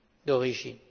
d'origine.